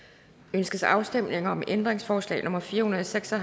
ønskes afstemning om ændringsforslag nummer fire hundrede og seks og